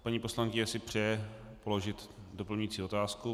Paní poslankyně si přeje položit doplňující otázku.